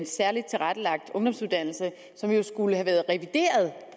særlig tilrettelagt ungdomsuddannelse som jo skulle have været revideret